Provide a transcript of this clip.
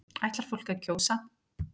Ætlar fólk að kjósa